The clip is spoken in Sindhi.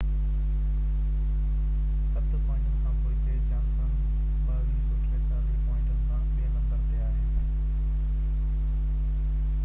ست پوائنٽن کان پوئتي جانسن 2243 پوائنٽن سان ٻي نمبر تي آهي